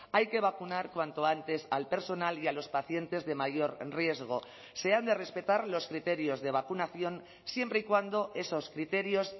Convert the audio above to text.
hay que vacunar cuanto antes al personal y a los pacientes de mayor riesgo se han de respetar los criterios de vacunación siempre y cuando esos criterios